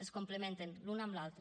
es complementen l’un amb l’altre